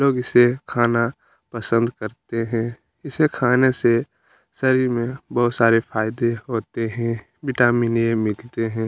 लोग इसे खाना पसंद करते है इसे खाने से शरीर में बहुत सारे फायदे होते है विटामिन ए मिलते हैं।